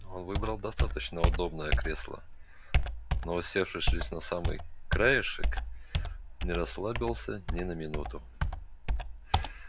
он выбрал достаточно удобное кресло но усевшись лишь на самый краешек не расслабился ни на минуту